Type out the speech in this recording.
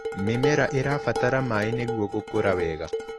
Mĩmera ĩrabatara maĩ nĩguo gũkũra wega.